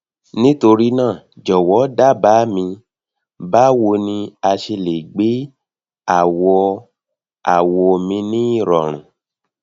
nitorina jọwọ daba mi bawo ni a ṣe le gbe awọawọ mi ni irọrun